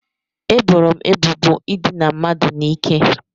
Eboro m ebubo ịdina mmadụ n'ike